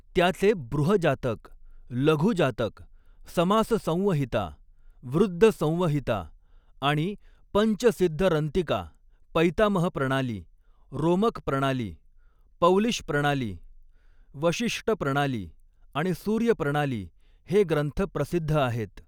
त्याचे बृहजातक, लघुजातक, समाससंवहिता, वृद्दसंवहिता आणि पंचसिध्दरन्तिका पैतामह प्रणाली, रोमक प्रणाली, पौलिश प्रणाली, वशिष्ट प्रणाली आणि सूर्य प्रणाली हे ग्रंथ प्रसिध्द आहेत.